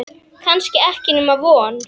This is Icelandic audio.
Kannski ekki nema von.